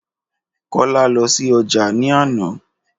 Kọ́lá lọ sí ojà ní àná